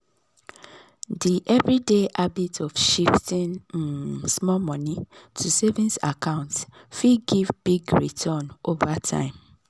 d everyday habit of shifting um small money to savings accounts fit give big return over time.